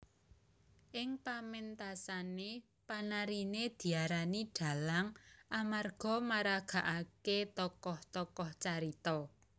Ing pamentasané panariné diarani dhalang amarga maragakaké tokoh tokoh carita